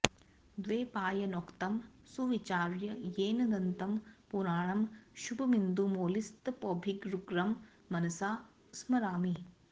द्वैपायनोक्तं सुविचार्य येन दन्तं पुराणं शुभमिन्दुमौलिस्तपोभिरुग्रं मनसा स्मरामि